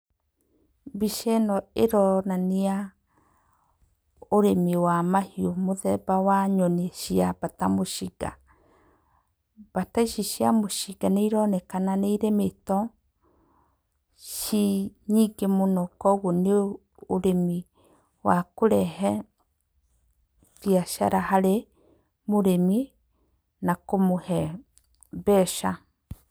Mbica ĩno ĩronania ũrĩmi wa mahiũ mũthemba wa nyoni cia mbata mũcinga. Mbata ici cia mũcinga nĩironeka nĩirĩmĩtwo ciĩ nyingĩ mũno koguo nĩ ũrĩmi wa kũrehe biacara harĩ mũrĩmi na kũmũhe mbeca.